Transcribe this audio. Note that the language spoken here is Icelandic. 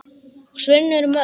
Og svörin eru mörg.